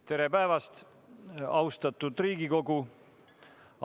Tere päevast, austatud Riigikogu!